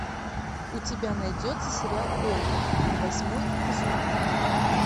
у тебя найдется сериал ольга восьмой эпизод